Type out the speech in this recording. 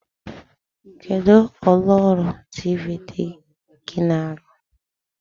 Kedụ ụlọọrụ tiivii di gị na-arụ?